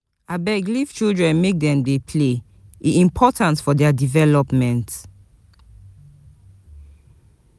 Abeg leave children make dem play e important for their development.